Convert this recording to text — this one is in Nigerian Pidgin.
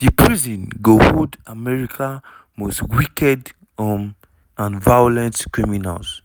di prison go "hold america most wicked um and violent criminals."